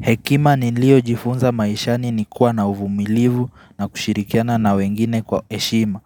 Hekima nilio jifunza maishani ni kuwa na uvumilivu na kushirikiana na wengine kwa heshima.